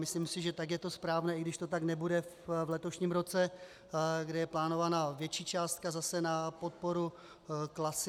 Myslím si, že tak je to správné, i když to tak nebude v letošním roce, kde je plánovaná větší částka zase na podporu KLASA.